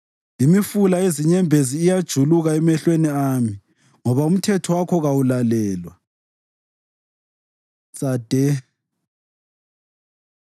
Imifula yezinyembezi iyajuluka emehlweni ami, ngoba umthetho wakho kawulalelwa. צ Tsadhe